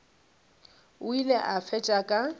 o ile a fetša ka